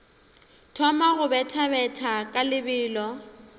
thoma go bethabetha ka lebelo